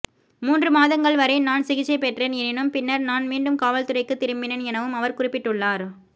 மூன்று மாதங்கள் வரை நான் சிகிச்சை பெற்றேன் எனினும் பின்னர் நான் மீண்டும் காவல்துறைக்கு திரும்பினேன் எனவும் அவர் குறிப்பிட்டுள்ளார்